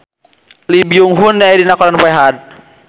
Lee Byung Hun aya dina koran poe Ahad